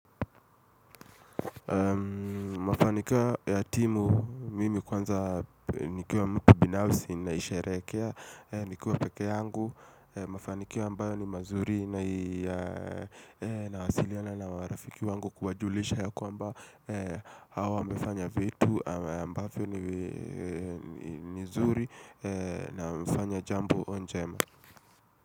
Mafanikia ya timu mimi kwanza nikiwa mtu binafsi na sharekea Nikiwa peke yangu, mafanikio ambayo ni mazuri na hasiliana na marafiki wangu kuwajulisha yako ambayo Hawa mfanya vitu ambayo ni zuri na mfanya jambo jambo njema.